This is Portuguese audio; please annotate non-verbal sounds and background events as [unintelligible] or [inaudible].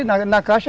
[unintelligible] Na na caixa